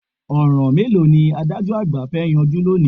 Ọ̀ràn mélòó ni adájọ́ àgbà fẹ́ yanjú lónìí?